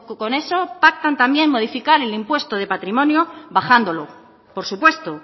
con eso pactan también modificar el impuesto de patrimonio bajándolo por supuesto